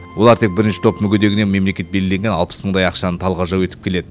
олар тек бірінші топ мүгедегіне мемлекет белгілеген алпыс мыңдай ақшаны талғажау етіп келеді